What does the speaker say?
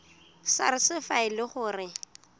sars fa e le gore